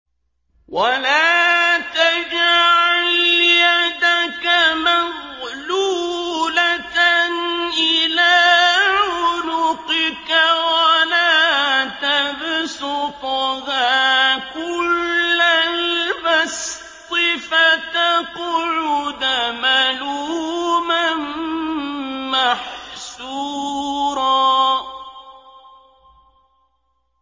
وَلَا تَجْعَلْ يَدَكَ مَغْلُولَةً إِلَىٰ عُنُقِكَ وَلَا تَبْسُطْهَا كُلَّ الْبَسْطِ فَتَقْعُدَ مَلُومًا مَّحْسُورًا